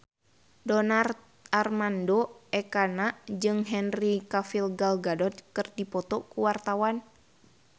Donar Armando Ekana jeung Henry Cavill Gal Gadot keur dipoto ku wartawan